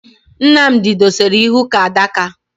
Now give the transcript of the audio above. Nnamdi dosara ihu ka adaka